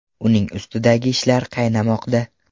Uning ustidagi ishlar qaynamoqda.